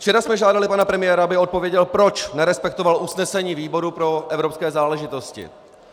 Včera jsme žádali pana premiéra, aby odpověděl, proč nerespektoval usnesení výboru pro evropské záležitosti.